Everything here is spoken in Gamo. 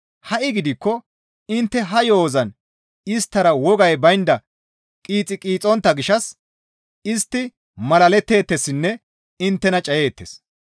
Ha7i gidikko intte ha yo7ozan isttara wogay baynda qiixi qiixontta gishshas istti malaletteetessinne inttena cayeettes.